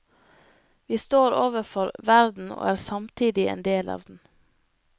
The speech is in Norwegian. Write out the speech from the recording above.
Vi står overfor verden og er samtidig en del av den.